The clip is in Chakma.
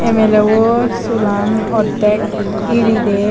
milebu sulan oddek iri de.